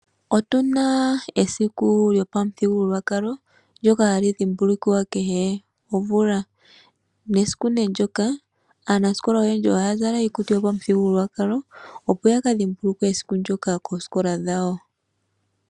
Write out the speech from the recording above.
Otuna esiku lyopamuthigululwakalo ndjoka hali dhumbulukiwa kehe omvula, nesiku ne ndjoka aanasikola ohaya zala iikutu yopamuthigululwakalo opo yakadhimbuluke esiku ndjoka koosikola dhawo.